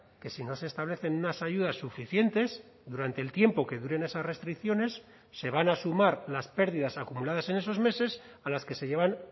que si no se establecen unas ayudas suficientes durante el tiempo que duren esas restricciones se van a sumar las pérdidas acumuladas en esos meses a las que se llevan